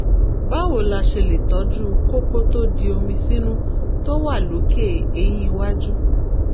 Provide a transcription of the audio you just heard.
báwo la ṣe lè tọ́jú kókó tó di omi sínú tó wà lókè eyín iwájú?